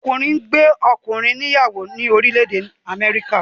Ọkùnrin ngbé ọkùnrin ní ìyàwó ni orílè èdè Améríkà.